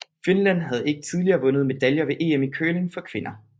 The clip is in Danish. Finland havde ikke tidligere vundet medaljer ved EM i curling for kvinder